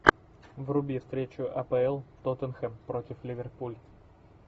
вруби встречу апл тоттенхэм против ливерпуль